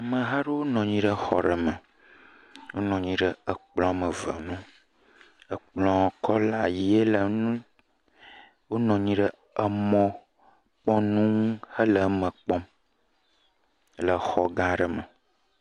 Ameha aɖewo nɔ anyi ɖe xɔ ɖe me. Wonɔ anyi ɖe ekplɔ woame ve ŋu, ekplɔ kɔla ʋɛ̃e le ŋu, wonɔ anyi ɖe emɔkpɔnu ŋu hele nua kpɔm le xɔ gã aɖe me.